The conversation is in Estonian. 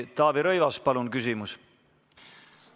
Taavi Rõivas, palun küsimus!